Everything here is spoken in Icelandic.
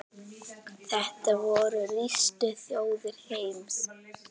Þetta voru ríkustu þjóðir heims.